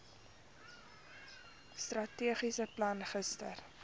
strategiese plan gister